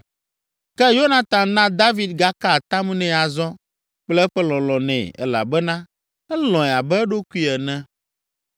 Ke Yonatan na David gaka atam nɛ azɔ kple eƒe lɔlɔ̃ nɛ elabena elɔ̃e abe eɖokui ene.